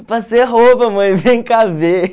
Passei a roupa, mãe, vem cá ver.